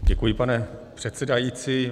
Děkuji, pane předsedající.